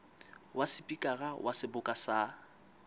wa sepikara wa seboka sa